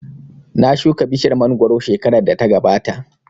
Na shuka bishiyar mangoro shekarar da ta gabata